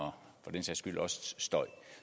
men